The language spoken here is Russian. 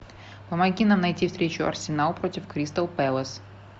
помоги нам найти встречу арсенал против кристал пэлас